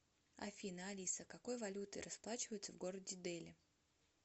афина алиса какой валютой расплачиваются в городе дели